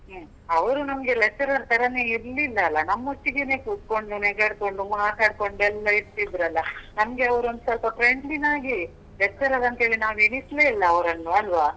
ಹು. ಅವ್ರು ನಮ್ಗೆ lecturer ತರಾನೇ ಇರ್ಲಿಲ್ಲ ಅಲ? ನಮ್ಮ್ ಒಟ್ಟಿಗೇನೇ ಕೂತ್ಕೊಂಡ್, ನೆಗಾಡ್ಕೊಂಡ್, ಮಾತಾಡ್ಕೊಂಡ್ ಎಲ್ಲ ಇರ್ತಿದ್ರಲ್ಲ. ನಮ್ಗೆ ಅವ್ರು ಒಂದ್ಸೊಲ್ಪ friend ನಾಗೇಯೇ lecturer ಅಂತೇಳಿ ನಾವ್ ಎಣಿಸ್ಲೇ ಇಲ್ಲ ಅವ್ರನ್ನು ಅಲ್ವಾ?